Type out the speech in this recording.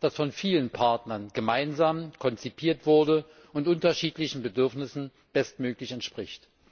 das von vielen Partnern gemeinsam konzipiert wurde und unterschiedlichen Bedürfnissen bestmöglich entspricht.